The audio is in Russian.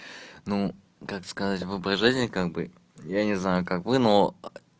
ну как сказать выбор жизни как бы я не знаю как вы но